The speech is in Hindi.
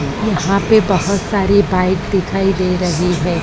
यहां पे बहोत सारी बाइक दिखाई दे रही है।